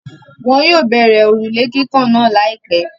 Wọn yóò bẹ̀rẹ̀ òrùlé kíkàn náà láìpẹ́.